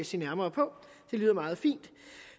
se nærmere på det lyder meget fint